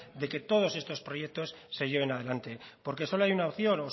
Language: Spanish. de que todos estos proyectos se lleven adelante porque solo hay una opción